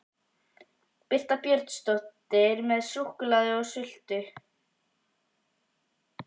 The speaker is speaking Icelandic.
Birta Björnsdóttir: Með súkkulaði og sultu?